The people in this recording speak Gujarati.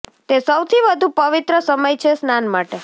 તે સૌથી વધુ પવિત્ર સમય છે સ્નાન માટે